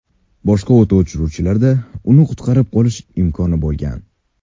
Boshqa o‘t o‘chiruvchilarda uni qutqarib qolish imkoni bo‘lmagan.